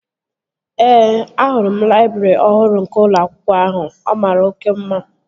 Ee, ahụrụ m laịbrị ọhụrụ nke ụlọ akwụkwọ ahụ. Ọ mara oké mma